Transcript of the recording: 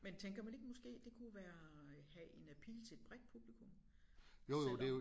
Men tænker man ikke måske det kunne være have en appeal til et bredt publikum selvom